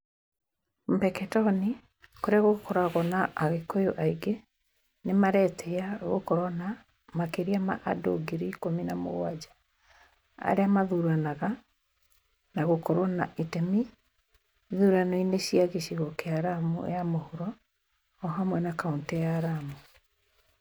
Mpeketoni kũrĩa gũkoragwo na agĩkũyũ aingĩ, nĩ maretĩĩya gũkorwo na makĩria ma andũ ngiri ĩkũmi na mũgwanja arĩa mathuranaga na gũkorwo na itemi ĩthurano-inĩ cia gĩcigo kĩa Lamu ya ithũĩro o hamwe na kaũntĩ ya Lamu.